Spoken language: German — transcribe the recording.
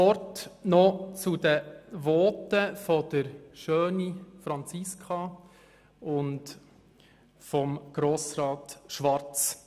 Noch ein Wort zu den Voten von Grossrätin Schöni und von Grossrat Schwarz.